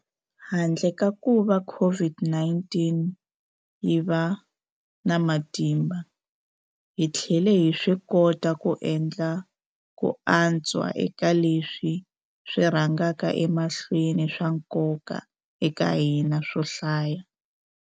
Handle ka kuva COVID-19 yi va na matimba, hi tlhele hi swikota ku endla ku antswa eka leswi swi rhangaka emahlweni swa nkoka eka hina swo hlaya.